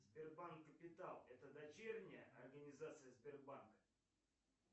сбербанк капитал это дочерняя организация сбербанка